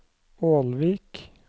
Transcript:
Ålvik